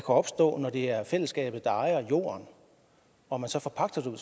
opstå når det er fællesskabet der ejer jorden og man så forpagter den